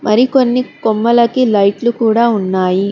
మరికొన్ని కొమ్మలకి లైట్లు కూడా ఉన్నాయి.